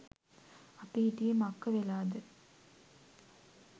අපි හිටියෙ මක්ක වෙලාද